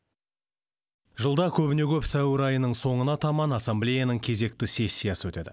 жылда көбіне көп сәуір айының соңына таман ассамблеяның кезекті сессиясы өтеді